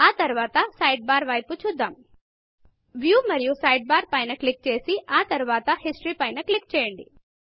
ఆ తరువాత Sidebarసైడ్ బార్ వైపు చూద్దాం Viewవ్యూ మరియు సైడ్బార్ సైడ్ బార్పైన క్లిక్ చేసి ఆ తరువాత Historyహిస్టరీ పైన క్లిక్ చేయండి